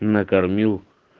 накормил